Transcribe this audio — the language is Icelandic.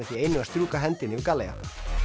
því einu að strjúka hendinni yfir